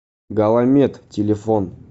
галамед телефон